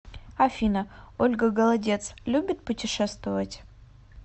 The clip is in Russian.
афина ольга голодец любит путешествовать